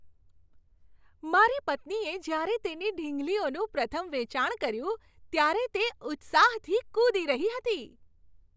મારી પત્નીએ જ્યારે તેની ઢીંગલીઓનું પ્રથમ વેચાણ કર્યું, ત્યારે તે ઉત્સાહથી કૂદી રહી હતી.